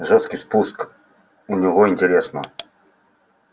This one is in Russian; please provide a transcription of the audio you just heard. жёсткий спуск у него интересно